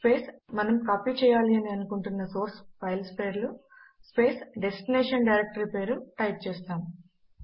space మనము copy చేయాలి అని అనుకుంటున్న సోర్స్ ఫైల్స్ పేర్లు స్పేస్ డెస్టినేషన్ డైరెక్టరీ పేరు టైప్ చేస్తాము